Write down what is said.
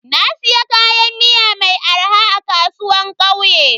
Na siya kayan miya mai arha a kasuwan kauye.